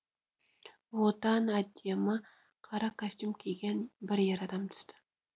одан әдемі қара костюм киген бір ер адам түсті